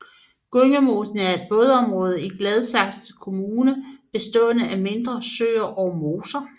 Gyngemosen er et vådområde i Gladsaxe Kommune bestående af mindre søer og moser